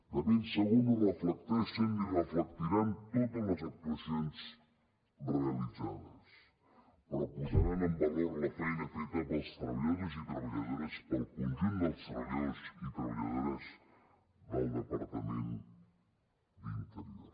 de ben segur que no reflecteixen ni reflectiran totes les actuacions realitzades però posaran en valor la feina feta pels treballadors i treballadores pel conjunt dels treballadors i treballadores del departament d’interior